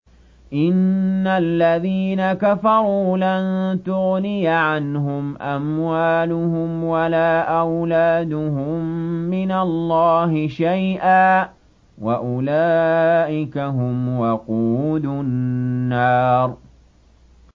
إِنَّ الَّذِينَ كَفَرُوا لَن تُغْنِيَ عَنْهُمْ أَمْوَالُهُمْ وَلَا أَوْلَادُهُم مِّنَ اللَّهِ شَيْئًا ۖ وَأُولَٰئِكَ هُمْ وَقُودُ النَّارِ